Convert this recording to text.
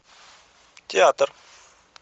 театр